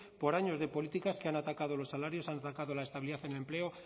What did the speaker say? por años de políticas que han atacado los salarios han atacado la estabilidad en empleo